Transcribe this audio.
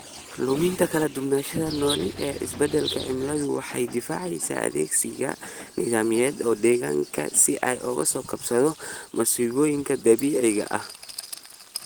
Luminta kala duwanaanshaha noole ee isbedelka cimiladu waxay daciifisaa adkeysiga nidaamyada deegaanka si ay uga soo kabato masiibooyinka dabiiciga ah.